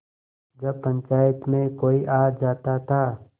जब पंचायत में कोई आ जाता था